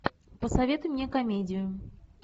посоветуй мне комедию